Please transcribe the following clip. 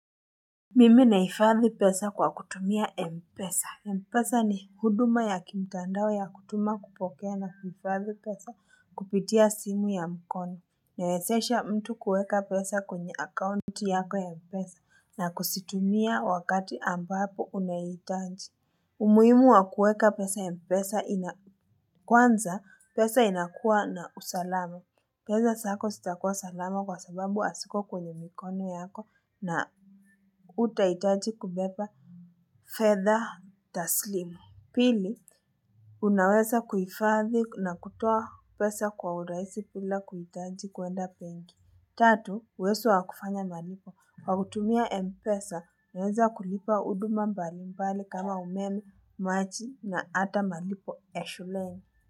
Mimi nahifadhi pesa kwa kutumia Mpesa. Mpesa ni huduma ya kimtandao ya kutuma kupokea na kuhifadhi pesa kupitia simu ya mkono. Newezesha mtu kueka pesa kwenye account yako ya mpesa na kuzitumia wakati ambapo unaihitaji. Umuhimu wa kueka pesa ya mpesa inakwanza pesa inakua na usalama. Peza zako zitakua salama kwa sababu hasiko kwenye mikono yako na utahitaji kubeba fedha taslimu. Pili, unaweza kuhifadhi na kutoa pesa kwa uraisi bila kuhitaji kwenda benki. Tatu, uwezo wakufanya malipo. Wakutumia Mpesa, unaneza kulipa huduma mbali mbali kama umemi, maji na hata malipo ya shuleni.